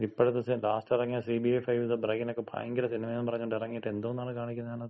ഇപ്പഴത്തെ ലാസ്റ്റ് എറങ്ങിയ CBI 5 the ബ്രെയിനക്ക ഭയങ്കര സിനിമയാണെന്ന് പറഞ്ഞ് ഇറങ്ങിയിട്ട് എന്തോന്നാണ് കാണിക്കുന്നെ അതിനകത്ത്.